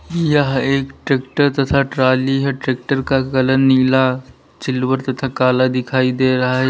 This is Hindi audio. यह एक ट्रैक्टर तथा ट्रॉली है ट्रैक्टर का कलर नीला सिल्वर तथा काला दिखाई दे रहा है।